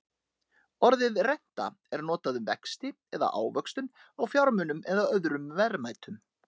Orðið renta er notað um vexti eða ávöxtun á fjármunum eða öðrum verðmætum.